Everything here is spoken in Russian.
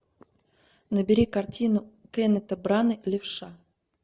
набери картину кеннета брана левша